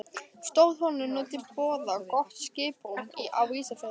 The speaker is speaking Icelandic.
Stóð honum nú til boða gott skiprúm á Ísafirði.